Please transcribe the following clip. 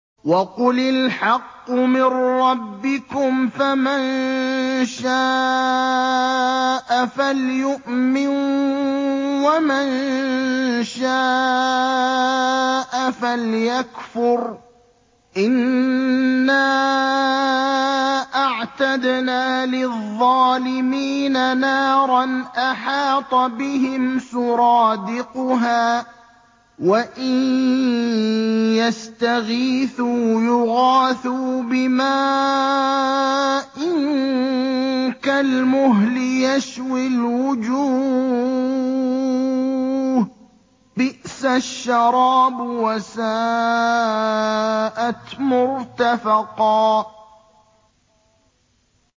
وَقُلِ الْحَقُّ مِن رَّبِّكُمْ ۖ فَمَن شَاءَ فَلْيُؤْمِن وَمَن شَاءَ فَلْيَكْفُرْ ۚ إِنَّا أَعْتَدْنَا لِلظَّالِمِينَ نَارًا أَحَاطَ بِهِمْ سُرَادِقُهَا ۚ وَإِن يَسْتَغِيثُوا يُغَاثُوا بِمَاءٍ كَالْمُهْلِ يَشْوِي الْوُجُوهَ ۚ بِئْسَ الشَّرَابُ وَسَاءَتْ مُرْتَفَقًا